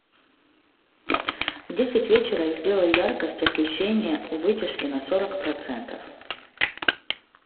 в десять вечера сделай яркость освещение у вытяжки на сорок процентов